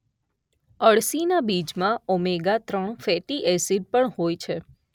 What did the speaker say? અળસીના બીજમાં ઓમેગા ત્રણ fatty acid પણ હોય છે.